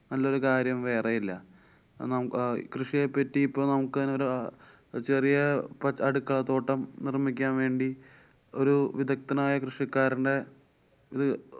നല്ലൊരു കാര്യം വേറെയില്ല. അഹ് നം~ ആ കൃഷിയെ പറ്റി ഇപ്പൊ നമുക്കന്നെ ഒരു ചെറിയ പ്പൊ അടുക്കളത്തോട്ടം നിര്‍മ്മിക്കാന്‍ വേണ്ടി ഒരു വിദ്ധഗ്ത്തനായ കൃഷിക്കാരനെ ഇത്